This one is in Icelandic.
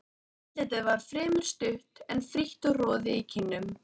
Andlitið var fremur stutt, en frítt og roði í kinnum.